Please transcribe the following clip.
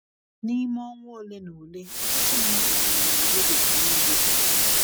N’ime ọnwa ole na ole ọtụtụ mmadụ nwụrụ na Europe nile.